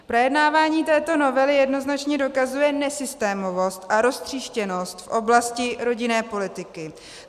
Projednávání této novely jednoznačně dokazuje nesystémovost a roztříštěnost v oblasti rodinné politiky.